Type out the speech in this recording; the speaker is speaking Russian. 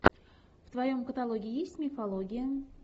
в твоем каталоге есть мифология